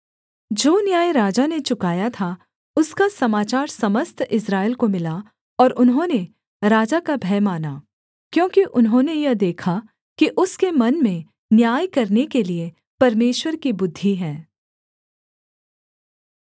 जो न्याय राजा ने चुकाया था उसका समाचार समस्त इस्राएल को मिला और उन्होंने राजा का भय माना क्योंकि उन्होंने यह देखा कि उसके मन में न्याय करने के लिये परमेश्वर की बुद्धि है